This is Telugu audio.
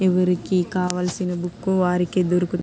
ఎవరికి కావలిసిన బుక్కు వారికే దొరుకును.